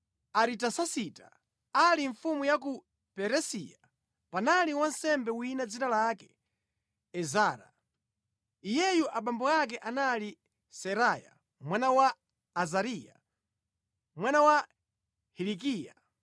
Zitatha izi, Aritasasita ali mfumu ya ku Perisiya, panali wansembe wina dzina lake Ezara. Iyeyu abambo ake anali Seraya mwana wa Azariya, mwana wa Hilikiya,